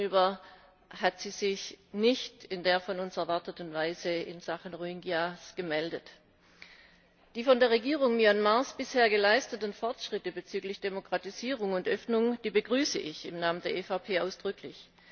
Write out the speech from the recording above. Uns gegenüber hat sie sich nicht in der von uns erwarteten Weise in Sachen Rohingya gemeldet. Die von der Regierung Myanmars bisher geleisteten Fortschritte bezüglich Demokratisierung und Öffnung begrüße ich Namen der EVP ausdrücklich.